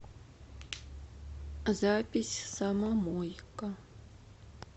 запись самомойка